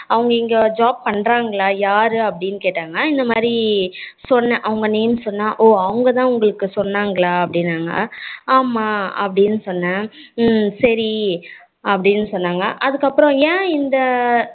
அவங்க இங்க job பண்றாங்களா யாரு அப்படின்னு கேட்டாங்க இந்த மாறி சொன்னேன், அவங்க name சொன்னேன் ஓ அவங்க தான் உங்களுக்கு சொன்னாங்களா அப்படினாங்க ஆமா அப்படினு சொன்னேன் ஹம் சரி அப்படினு சொன்னாங்க அதுக்கு அப்பறம் என் இந்த